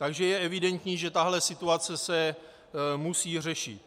Takže je evidentní, že tahle situace se musí řešit.